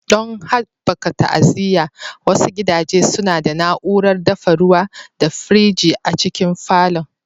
Don haɓaka ta'aziyya, wasu gidaje suna da na'urar dafa ruwa da firji a cikin falon.